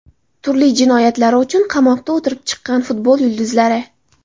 Turli jinoyatlari uchun qamoqda o‘tirib chiqqan futbol yulduzlari.